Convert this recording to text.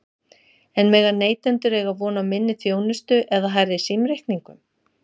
En mega neytendur eiga von á minni þjónustu eða hærri símreikningum?